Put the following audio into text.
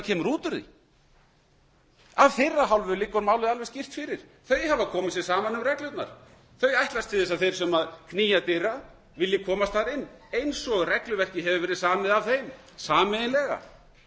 kemur út úr því af þeirra hálfu liggur málið alveg skýrt fyrir þau hafa komið sér saman um reglurnar þau ætlast til þess að þeir sem knýja dyra vilji komast þar inn eins og regluverkið hefur verið samið af þeim sameiginlega þetta